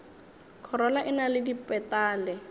khorola e na le dipetale